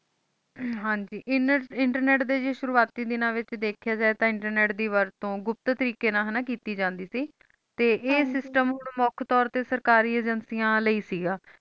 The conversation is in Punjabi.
ਹਨ ਜੀ internet ਦੇ ਸ਼ੁਰੂਆਤੀ ਦੀਨਾ ਵਿਚ ਦੀਖਿਆ ਜਾਇ ਤੇ internet ਦੀ ਵਰਡ ਤੂੰ ਗੁਪਤ ਤਰੀਕੇ ਨਾਲ ਹੈ ਨਾ ਕੀਤੀ ਜਾਂਦੀ ਸੀ ਤੇ ਇਹ ਸਿਸਟਮ ਮੁਕ ਤੋਰ ਤੂੰ ਸਰਕਾਰੀ ਏਜੰਸੀਆਂ ਆਲੇ ਸਿਗਿਆ